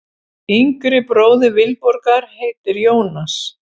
Yngri bróðir Vilborgar heitir Jónas.